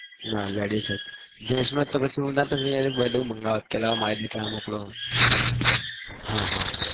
નાં ledies જ gents હા